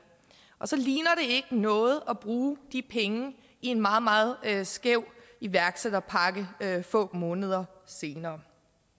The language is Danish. og så ligner ikke noget at bruge de penge i en meget meget skæv iværksætterpakke få måneder senere